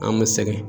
An bɛ sɛgɛn